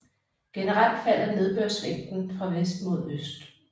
Generelt falder nedbørsmængden fra vest mod øst